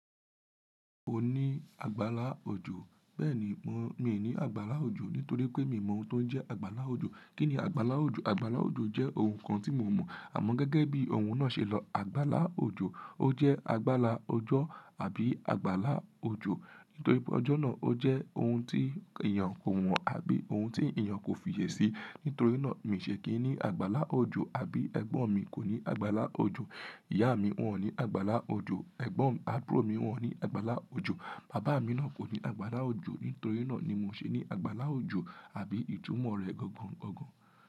Kò ní àgbàlá òjò. Bẹ́ẹ̀ni mo, mi ò ní àgbàlá òjò nítorí pé mi mọ oun tó ń jẹ́ àgbàlá òjò. Kí ni àgbàlá òjò? Àgbàlá òjò jẹ́ oun kan tí mo mọ̀ àmọ́ gẹ́gẹ́ bí ohun náà ṣe lọ, àgbàlá òjò, ó jẹ́ àgbàlá ọjọ́ àbí àgbàlá òjò. Nítorí pé ọjọ́ náà ó jẹ́ oun tí èèyàn kò mọ̀ àbí oun tí èèyàn kò fi yè sí. Nítorí náà mi ṣe kì í ní àgbàlá òjò àbí ẹ̀gbọ́n mi kò ní àgbàlá òjò. Ìyá mi wọ́n ò ní àgbàlá òjò, ẹ̀gbọ́n àbúrò mi wọ́n ò ní àgbàlá òjò. Bàbá mi náà kò ní àgbàlá òjò. Nítorí náà ni mo ṣe ní àgbàlá òjò àbí ìtumọ̀ rẹ̀ gangan.